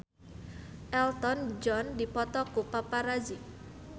Elton John dipoto ku paparazi